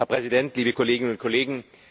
Herr Präsident, liebe Kolleginnen und Kollegen!